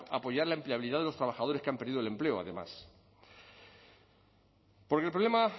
apoyar la empleabilidad de los trabajadores que han perdido el empleo además porque el problema